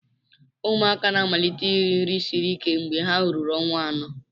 Ụmụaka na-amalite iri nri siri ike mgbe ha ruru ọnwa anọ.